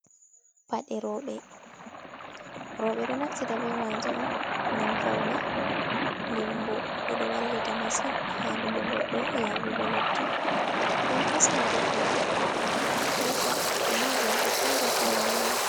Paɗe rowɓe. Rowɓe ɗo naftita be maje on ngam faune, dem bo ɗe ɗo wallita masin haɗugo goɗɗo yaɓugo leddi, nden hisna goɗɗo tufande kusa e ma jamɗe feere-feere ha leddi.